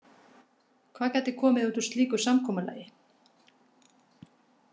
Hvað gæti komið út úr slíku samkomulagi?